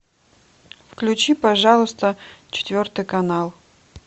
включи пожалуйста четвертый канал